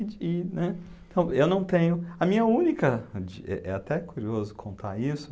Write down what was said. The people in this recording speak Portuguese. e, né. Então, eu não tenho... A minha única, de... É é até curioso contar isso.